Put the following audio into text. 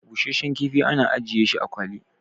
busasshen kifi ana ajiye shi a kwali